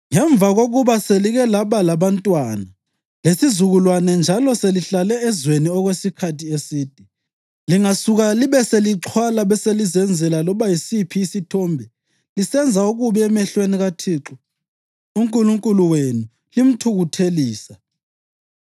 Ngemva kokuba selike laba labantwana, lesizukulwane njalo selihlale ezweni okwesikhathi eside, lingasuka libe selixhwala beselizenzela loba yisiphi isithombe, lisenza okubi emehlweni kaThixo uNkulunkulu wenu limthukuthelisa,